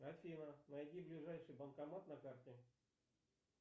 афина найди ближайший банкомат на карте